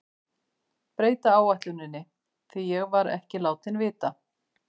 Breyta áætluninni, því var ég ekki látinn vita.